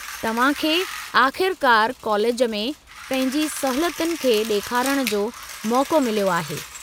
तव्हां खे आख़िरकारु कालेज में पंहिंजी सलाहियतुनि खे ॾेखारण जो मौक़ो मिलियो आहे।